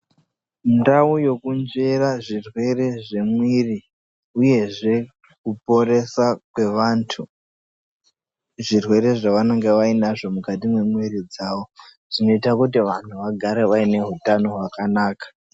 Ndau yekunzvera zvirwere zvemwiri uyezve nekuporesa kwevanthu zvirwere zvavanenge vainazvo mukati memwiri dzavo zvinoita kuti vanthu vagare vaine utano hwakanaka.